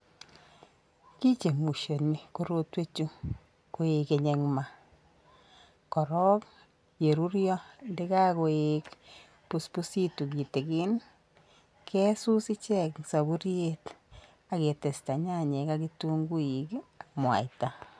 kichemushoni korotwek chuu koigeny en maa koron yeruryo yekokoibusmusitun kitikin kesut ichek en soburyek ak ketesta nyanyik ak kitunguik ak muaita.